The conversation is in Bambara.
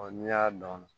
n'i y'a dɔn